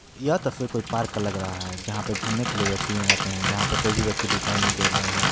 यह तस्वीर कोई पार्क का लग रहा है जहाँ पे घूमने के लिए व्यक्ति आते हैं जहाँ पे कोई भी व्यक्ति दिखाई नही दे रहा है।